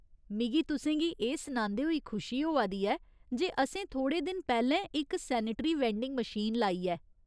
मिगी तुसें गी एह् सनांदे होई खुशी होआ दी ऐ जे असें थोह्ड़े दिन पैह्‌लें इक सेनेटरी वैंडिंग मशीन लाई ऐ।